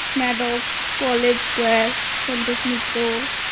Medex college square Santosh Mitra